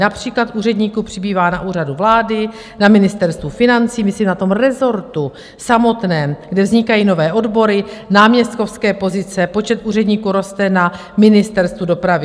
Například úředníků přibývá na Úřadu vlády, na Ministerstvu financí, myslím na tom rezortu samotném, kde vznikají nové odbory, náměstkovské pozice, počet úředníků roste na Ministerstvu dopravy.